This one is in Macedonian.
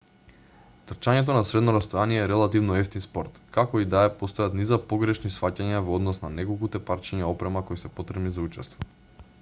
трчањето на средно растојание е релативно евтин спорт како и да е постојат низа погрешни сфаќања во однос на неколкуте парчиња опрема кои се потребни за учество